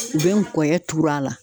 U bɛ n kɔyɔ turu a la.